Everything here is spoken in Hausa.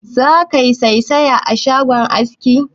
Zaka yi saisaye a shagon askin?